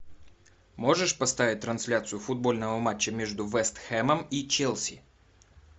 можешь поставить трансляцию футбольного матча между вест хэмом и челси